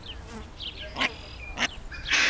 Ég reyni það aldrei.